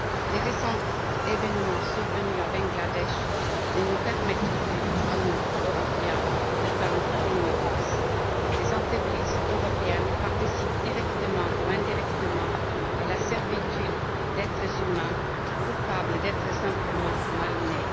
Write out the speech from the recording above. Les récents événements survenus au Bangladesh ne nous permettent plus à nous, Européens, de feindre l'ignorance. Des entreprises européennes participent, directement ou indirectement, à la servitude d'êtres humains coupables d'être simplement mal nés.